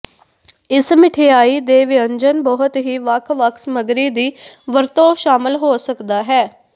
ਇਸ ਮਿਠਆਈ ਦੇ ਵਿਅੰਜਨ ਬਹੁਤ ਹੀ ਵੱਖ ਵੱਖ ਸਮੱਗਰੀ ਦੀ ਵਰਤੋ ਸ਼ਾਮਲ ਹੋ ਸਕਦਾ ਹੈ